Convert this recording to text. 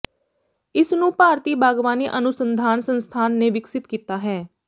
ਇਸਨੂੰ ਭਾਰਤੀ ਬਾਗਵਾਨੀ ਅਨੁਸੰਧਾਨ ਸੰਸਥਾਨ ਨੇ ਵਿਕਸਿਤ ਕੀਤਾ ਹੈ